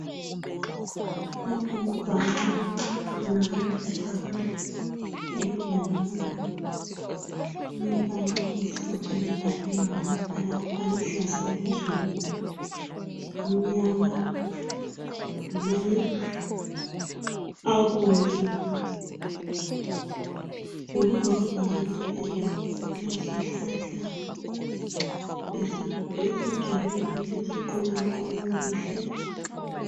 lapha libhakana kubona kala ibhakane elibhali lilombalo omhlophe libhaliwe ngamabala oluhlaza phezulu, amnyama lamanye abomvu ngemuva kwebhakana leli kulesihlahla esiqunywa qunywe kuhle.